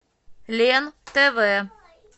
лен тв